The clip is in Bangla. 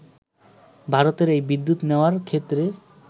ভারতের এই বিদ্যুৎ নেওয়ার ক্ষেত্রে